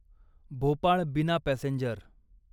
Bhopal Bina passenger